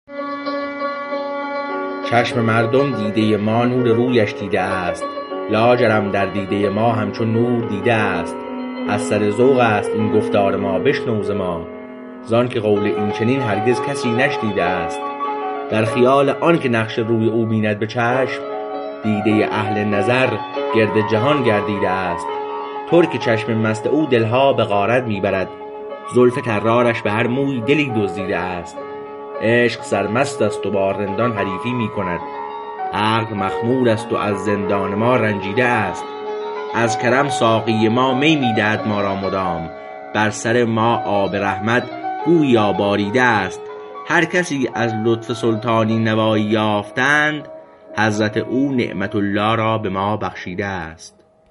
چشم مردم دیده ما نور رویش دیده است لاجرم در دیده ما همچو نور دیده است از سر ذوق است این گفتار ما بشنو ز ما زانکه قول این چنین هرگز کسی نشنیده است در خیال آنکه نقش روی او بیند به چشم دیده اهل نظر گرد جهان گردیده است ترک چشم مست او دلها به غارت می برد زلف طرارش به هر مویی دلی دزدیده است عشق سرمست است و با رندان حریفی می کند عقل مخمور است و از زندان ما رنجیده است از کرم ساقی ما می می دهد ما را مدام بر سر ما آب رحمت گوییا باریده است هرکسی از لطف سلطانی نوایی یافتند حضرت او نعمت الله را به ما بخشیده است